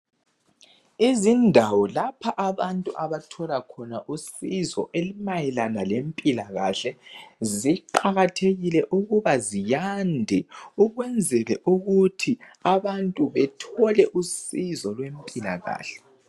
Izindawo lapha abantu abathola khona usizo elimayelana lempilakahle ziqakathekile ukuba ziyande ukwenzele ukuthi abantu bethole usizo lempilakahle.